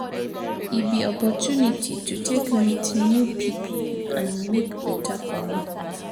E be opportunity to take meet new pipi and mek beta connect